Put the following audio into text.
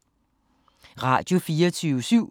Radio24syv